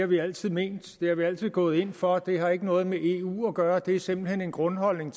vi altid ment det er vi altid gået ind for det har ikke noget med eu at gøre det er simpelt hen en grundholdning